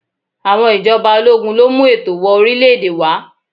Àwọn ìjọba ológun ló mú ètò wọ orílè-èdè wá.